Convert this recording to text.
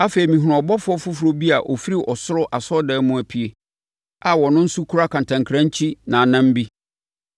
Afei, mehunuu ɔbɔfoɔ foforɔ bi a ɔfiri ɔsoro asɔredan mu apue a ɔno nso kura kantankrankyi nnamnnam bi.